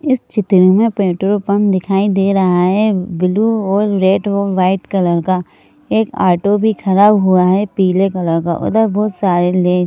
इस चित्र में पेट्रोल पंप दिखाई दे रहा है ब्लू और रेड और वाइट कलर का एक ऑटो भी खड़ा हुआ है पीले कलर का उधर बहुत सारे ले--